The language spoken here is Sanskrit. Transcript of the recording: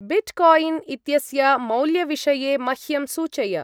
बिट्कायिन् इत्यस्य मौल्यविषये मह्यं सूचय।